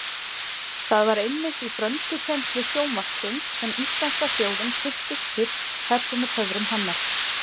Það var einmitt í frönskukennslu sjónvarpsins sem íslenska þjóðin kynntist fyrst persónutöfrum hennar.